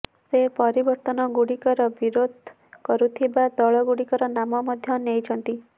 ସେ ପରିବର୍ତ୍ତନଗୁଡିକର ବିରୋଧ କରୁଥିବା ଦଳଗୁଡିକର ନାମ ମଧ୍ୟ ନେିଛନ୍ତି